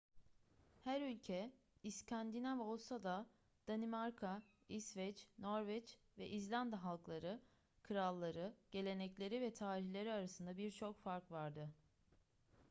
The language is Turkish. her ülke 'i̇skandinav' olsa da danimarka i̇sveç norveç ve i̇zlanda halkları kralları gelenekleri ve tarihleri arasında birçok fark vardı